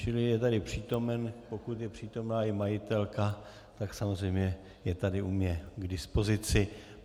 Čili je tady přítomen, pokud je přítomna i majitelka, tak samozřejmě je tady u mne k dispozici.